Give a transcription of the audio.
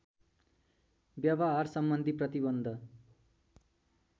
व्यवहार सम्बन्धी प्रतिबन्ध